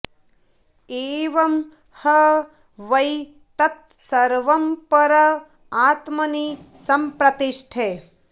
एवं ह वै तत् सर्वं पर आत्मनि सम्प्रतिष्ठते